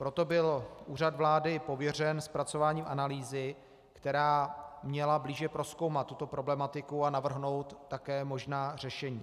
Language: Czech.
Proto byl Úřad vlády pověřen zpracováním analýzy, která měla blíže prozkoumat tuto problematiku a navrhnout také možná řešení.